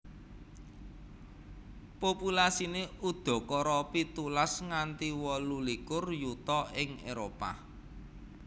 Populasine udakara pitulas nganti wolu likur yuta ing Éropah